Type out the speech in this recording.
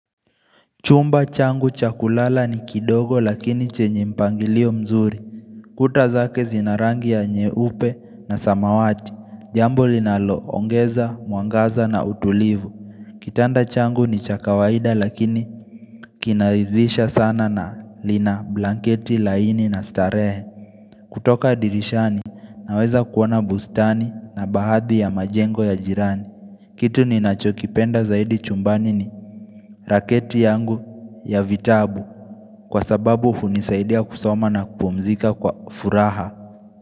Chumba changu chakulala ni kidogo lakini chenye mpangilio mzuri Kutazake zinarangi ya nye upe na samawati Jambo linalo ongeza, mwangaza na utulivu Kitanda changu ni cha kawaida lakini kinaridhisha sana na lina blanketi laini na starehe kutoka dirishani naweza kuona bustani na baadhi ya majengo ya jirani Kitu ni nachokipenda zaidi chumbani ni raketi yangu ya vitabu Kwa sababu hunisaidia kusoma na kupumzika kwa furaha.